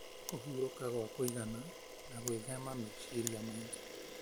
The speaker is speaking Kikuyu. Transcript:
Kũhurũka gwa kũigana na gwĩthema meciria maingĩ